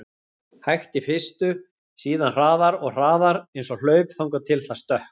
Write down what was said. hægt í fyrstu, síðan hraðar og hraðar, eins og hlaup, þangað til það stökk!